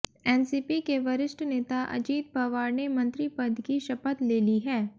NCP के वरिष्ठ नेता अजीत पवार ने मंत्री पद की शपथ ले ली है